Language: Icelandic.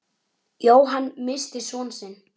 Jóhann missti son sinn.